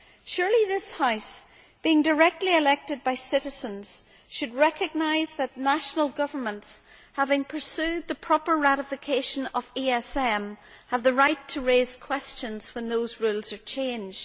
Surely this House, being directly elected by citizens, should recognise that national governments having pursued the proper ratification of ESM have the right to raise questions when those rules are changed.